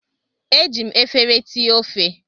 Eji m efere ti ofe.